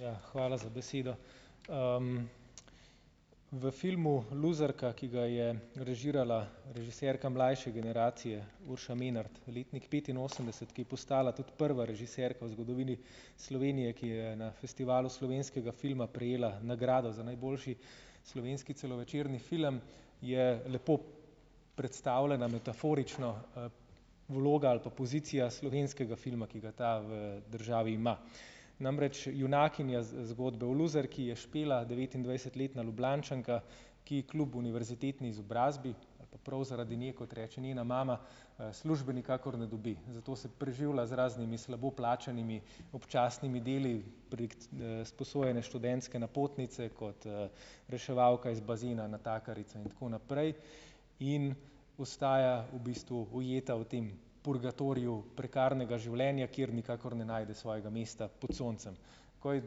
Ja, hvala za besedo. V filmu Luzerka, ki ga je režirala režiserka mlajše generacije, Urša Menart, letnik petinosemdeset, ki je postala tudi prva režiserka v zgodovini Slovenije, ki je na Festivalu slovenskega filma prejela nagrado za najboljši slovenski celovečerni film, je lepo predstavljena metaforično, vloga ali pa pozicija slovenskega filma, ki ga ta v državi ima. Namreč junakinja zgodbe v Luzerki je Špela, devetindvajsetletna Ljubljančanka, ki kljub univerzitetni izobrazbi ali pa prav zaradi nje, kot reče njena mama, službe nikakor ne dobi, zato se preživlja z raznimi slabo plačanimi občasnimi deli prek, sposojene študentske napotnice kot, reševalka iz bazena, natakarica in tako naprej, in ostaja v bistvu ujeta v tem purgatoriju prekarnega življenja, kjer nikakor ne najde svojega mesta pod soncem. Ko je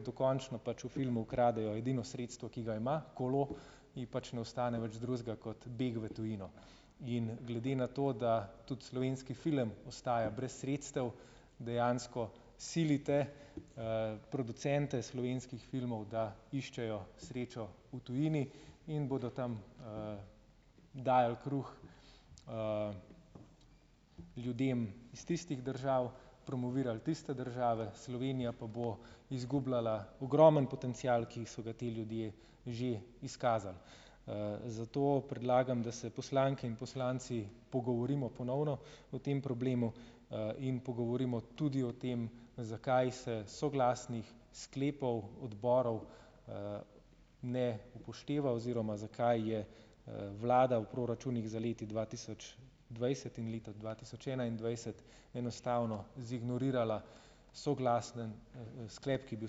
dokončno pač v filmu ukradejo edino sredstvo, ki ga ima, kolo, ji pač ne ostane več drugega kot beg v tujino. In glede na to, da tudi slovenski film ostaja brez sredstev, dejansko silite, producente slovenskih filmov, da iščejo srečo v tujini in bodo tam, dajali kruh, ljudem iz tistih držav, promovirali tiste države, Slovenija pa bo izgubljala ogromen potencial, ki so ga ti ljudje že izkazali. Zato predlagam, da se poslanke in poslanci pogovorimo ponovno o tem problemu, in pogovorimo tudi o tem, zakaj se soglasnih sklepov odborov, ne upošteva oziroma zakaj je, vlada v proračunih za leti dva tisoč dvajset in leto dva tisoč enaindvajset enostavno zignorirala soglasen sklep, ki je bil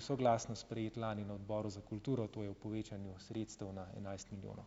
soglasno sprejet lani na Odboru za kulturo, to je ob povečanju sredstev na enajst milijonov.